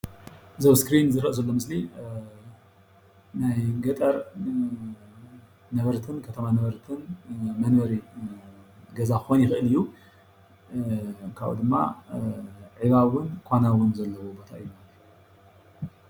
እዚ ኣብ እስክሪን እንሪአ ዘሎ ምስሊ ናይ ገጠር ነበርትን ናይ ከተማ ነበርትን መንበሪ ገዛ ክኮን ይክእል እዩ፡፡ ካብኡ ድማ ዒባ እውን ኳና እውን ዘለዎ ቦታ እዩ፡፡